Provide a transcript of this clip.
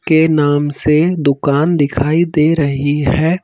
के नाम से दुकान दिखाई दे रही है।